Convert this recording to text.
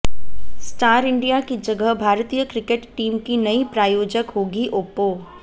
star India की जगह भारतीय क्रिकेट टीम की नई प्रायोजक होगी ओप्पो